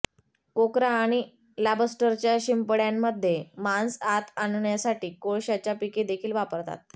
कोकरा आणि लॉबस्टरच्या शिंपड्यांमधे मांस आत आणण्यासाठी कोळशाच्या पिके देखील वापरतात